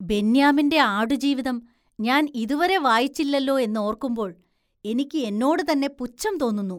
ബെന്ന്യാമിന്റെ ആടുജീവിതം ഞാന്‍ ഇതുവരെ വായിച്ചില്ലലോ എന്നോര്‍ക്കുമ്പോള്‍ എനിക്ക് എന്നോട് തന്നെ പുച്ഛം തോന്നുന്നു.